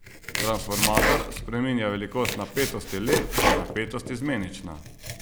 Transformator spreminja velikost napetosti le, če je napetost izmenična.